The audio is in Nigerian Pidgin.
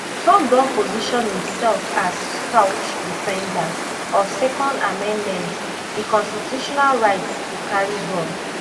trumpdon position imsefas staunch defender of second amendment di constitutional right to carry gun